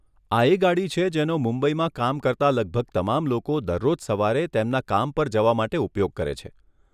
આ એ ગાડી છે, જેનો મુંબઈમાં કામ કરતા લગભગ તમામ લોકો દરરોજ સવારે તેમના કામ પર જવા માટે ઉપયોગ કરે છે.